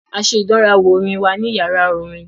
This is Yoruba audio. A ṣe ìdánrawò orin wa ní yàrá orin.